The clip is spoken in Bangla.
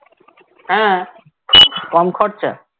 হ্যাঁ কম খরচা